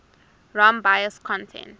rom bios content